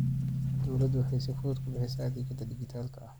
Dawladdu waxay si fudud ku bixisaa adeegyada dhijitaalka ah.